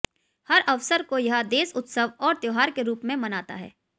हर अवसर को यह देश उत्सव और त्योहार के रूप में मनाता है